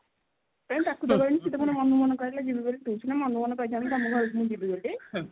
କାଇଁ ଡାକି ତ ନଥିଲି ସେ ପୁଣି ମନକୁ ମନ କହିଲା ଯିବି ବୋଲି ତୁ ସିନା ମନକୁ ମନ କହିଥାନ୍ତୁ ତମ ଘରକୁ ମୁଁ ଯିବି ବୋଲି